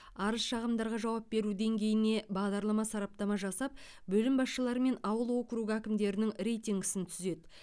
арыз шағымдарға жауап беру деңгейіне бағдарлама сараптама жасап бөлім басшылары мен ауыл округі әкімдерінің рейтингісін түзеді